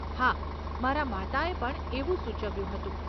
હા, મારા માતાએ પણ એવું સૂચવ્યું હતું.